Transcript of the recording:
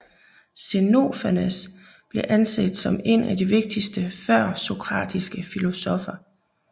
Xenofanes bliver anset som en af de vigtigste førsokratiske filosoffer